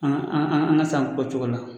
An an an an ka san kɛ o cogo la